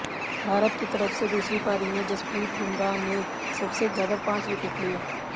भारत की तरफ से दूसरी पारी में जसप्रीत बुमराह ने सबसे ज्यादा पांच विकेट लिए